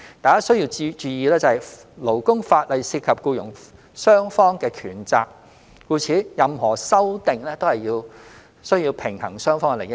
大家須注意，勞工法例涉及僱傭雙方的權責，故此，任何修訂均需平衡雙方的利益。